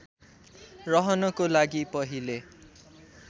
रहनको लागि पहिले